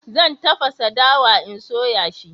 Zan tafasa dawa in soya shi